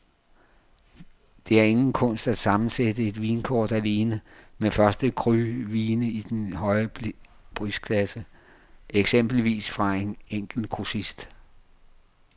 Det er ingen kunst at sammensætte et vinkort alene med første cru vine i den høje prisklasse, eksempelvis fra en enkelt grossist.